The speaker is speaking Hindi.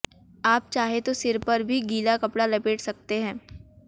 आप चाहें तो सिर पर भी गीला कपड़ा लपेट सकते हैं